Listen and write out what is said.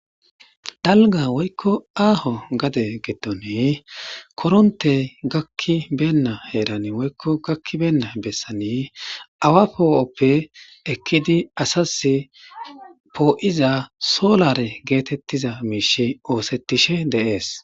dalga woykko aaho gade geddone korontey gakki beenna heeran woykko gakki beenna bessani awa poo7oppe ekkidi asas poo7iza solare geetettiza miishi oosettishe deees